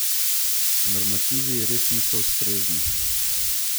Normativi res niso ustrezni.